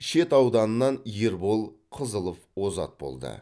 шет ауданынан ербол қызылов озат болды